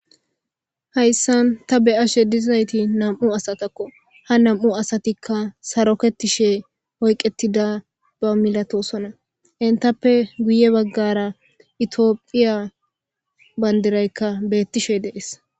Hayisan ta beashe dizayti naamu asatako ha naamu asatika saaroketshe oyiketidaba milatosona henitappe guye bagara ethiopia banidiraka betishe dees.